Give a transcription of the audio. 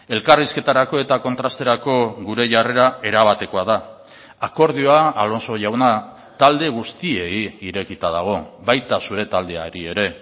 elkarrizketarako eta kontrasterako gure jarrera erabatekoa da akordioa alonso jauna talde guztiei irekita dago baita zure taldeari ere